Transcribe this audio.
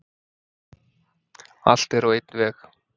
Allt er á einn veg.